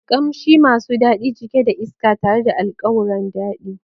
Kamshi masu dadi, cike da iska tare da alkawuran dadi.